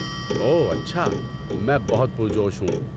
اوہ اچھا، میں بہت پرجوش ہوں۔